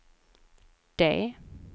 D